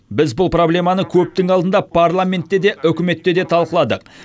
біз бұл проблеманы көптің алдында парламентте де үкіметте де талқыладық